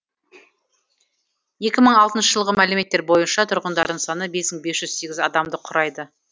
екі мың алтыншы жылғы мәліметтер бойынша тұрғындардың саны бес мың бес жүз сегіз адамды құрайды